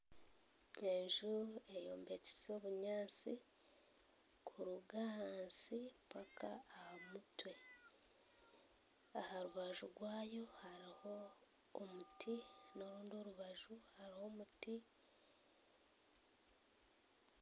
Enju eyombekise omunyatsi kuruga ahansi mpaka aha mutwe aharubaju rwayo hariho omuti noorundi orubaju hariho omuti